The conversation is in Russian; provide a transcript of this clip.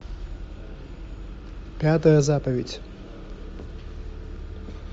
пятая заповедь